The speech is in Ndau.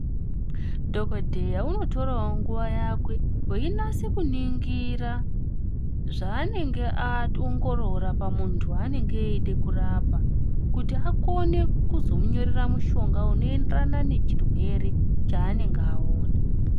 Dhokodheya unotorawo nguwa yake einyasa kuningira zvanenge aongorora pamuntu wanenge eida kurapa kuti vakone kuzomunyorera mushonga inoenderana nechirwere chanenge Aona.